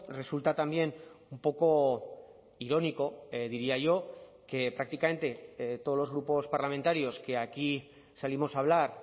resulta también un poco irónico diría yo que prácticamente todos los grupos parlamentarios que aquí salimos a hablar